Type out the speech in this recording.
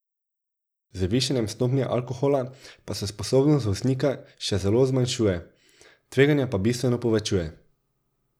Z višanjem stopnje alkohola pa se sposobnost voznika še zelo zmanjšuje, tveganje pa bistveno povečuje.